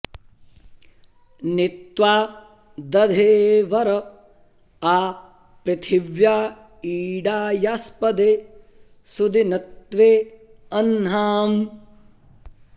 नि त्वा॑ दधे॒ वर॒ आ पृ॑थि॒व्या इळा॑यास्प॒दे सु॑दिन॒त्वे अह्ना॑म्